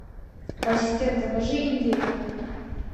ассистент закажи индейку